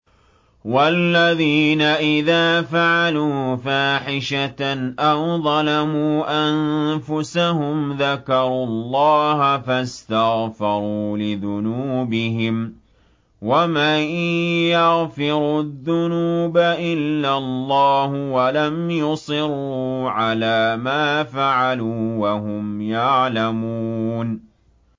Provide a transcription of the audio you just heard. وَالَّذِينَ إِذَا فَعَلُوا فَاحِشَةً أَوْ ظَلَمُوا أَنفُسَهُمْ ذَكَرُوا اللَّهَ فَاسْتَغْفَرُوا لِذُنُوبِهِمْ وَمَن يَغْفِرُ الذُّنُوبَ إِلَّا اللَّهُ وَلَمْ يُصِرُّوا عَلَىٰ مَا فَعَلُوا وَهُمْ يَعْلَمُونَ